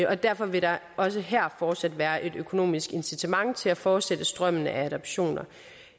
og derfor vil der også her fortsat være et økonomisk incitament til at fortsætte strømmen af adoptioner